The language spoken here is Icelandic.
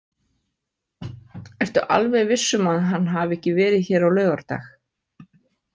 Ertu alveg viss um að hann hafi ekki verið hér á laugardag?